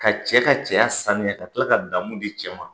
Ka cɛ ka cɛya saniya ka tila ka daamu di cɛ ma.